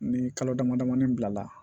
Ni kalo dama damani bilala